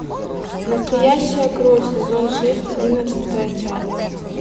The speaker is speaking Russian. настоящая кровь сезон шесть одиннадцатая часть